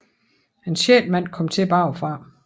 En sjette mand kommer til bagfra